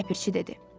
Ləpirçi dedi.